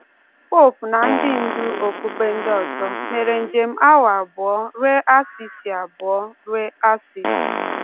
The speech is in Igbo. Popu na ndị ndú okpukpe ndị ọzọ mere njem awa abụọ ruo Assisi abụọ ruo Assisi